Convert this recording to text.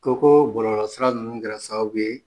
Ko ko bɔlɔlɔ sira ninnu kɛra sababu ye